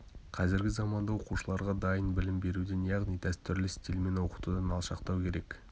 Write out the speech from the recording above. қазіргі заманда оқушыларға дайын білім беруден яғни дәстүрлі стильмен оқытудан алшақтау керек